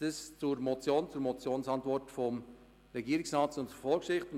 So viel zur Motion, zur Motionsantwort des Regierungsrats und zur Vorgeschichte.